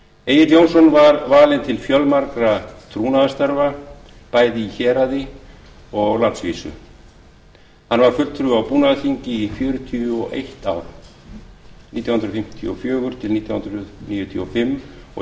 egill jónsson var valinn til fjölmargra trúnaðarstarfa bæði í héraði og á landsvísu hann var fulltrúi á búnaðarþingi í fjörutíu og eitt ár nítján hundruð fimmtíu og fjögur til nítján hundruð níutíu og fimm og